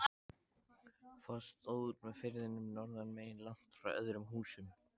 Foss stóð út með firðinum norðanmegin, langt frá öðrum húsum.